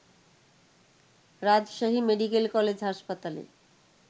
রাজশাহী মেডিকলে কলেজ হাসপতালে